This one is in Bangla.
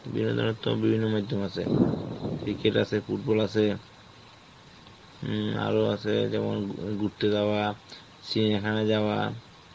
বিনোদনের তো বিভিন্ন মাইধ্যমে আছে, cricket আছে, football আছে হম আরো আছে যেমন ও ঘুরতে যাওয়া, চিড়িয়াখানা যাওয়া,